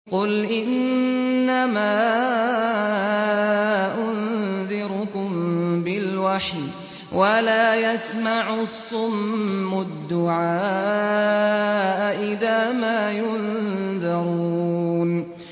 قُلْ إِنَّمَا أُنذِرُكُم بِالْوَحْيِ ۚ وَلَا يَسْمَعُ الصُّمُّ الدُّعَاءَ إِذَا مَا يُنذَرُونَ